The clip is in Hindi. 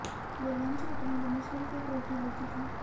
वे लंच और डिनर में सिर्फ एक रोटी लेती थीं